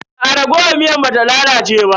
Aa raguwar miyar ba ta lalace ba.